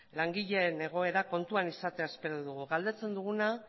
langileen egoera kontuan izatea espero dugu galdetzen dugu